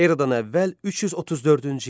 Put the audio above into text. Eradan əvvəl 334-cü il.